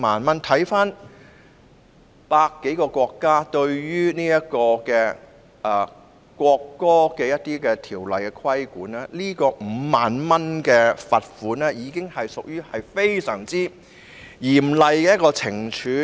環顧百多個國家對於侮辱國歌的罰則 ，5 萬元的罰款已屬非常嚴厲的懲處。